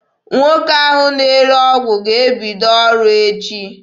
Nwoke ahụ na-ere ọgwụ ga-ebido ọrụ echi.